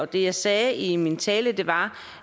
det jeg sagde i min tale var